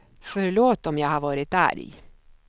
Förlåt om jag har varit arg.